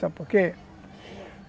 Sabe por quê?